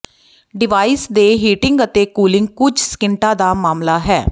device ਦੇ heating ਅਤੇ cooling ਕੁਝ ਸਕਿੰਟਾਂ ਦਾ ਮਾਮਲਾ ਹੈ